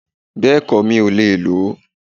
Bẹ́ẹ̀kọ́, mi ò lè ló